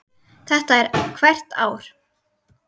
Þetta er hvert ár?